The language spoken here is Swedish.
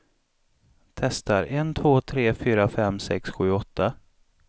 Testar en två tre fyra fem sex sju åtta.